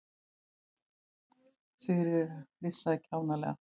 Sigríður flissaði kjánalega.